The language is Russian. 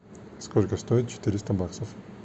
сколько стоит четыреста баксов